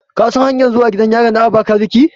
Ka san hanyanmr zuwa gidan yarin Abakeleki?